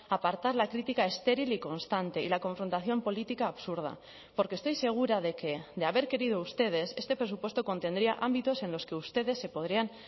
a apartar la crítica estéril y constante y la confrontación política absurda porque estoy segura de que de haber querido ustedes este presupuesto contendría ámbitos en los que ustedes se podrían